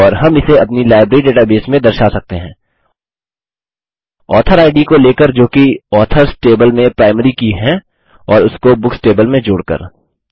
और हम इसे अपनी लाइब्रेरी डेटाबेस में दर्शा सकते हैं ऑथर इद को लेकर जोकि ऑथर्स टेबल में प्राइमरी की है और उसको बुक्स टेबल में जोड़कर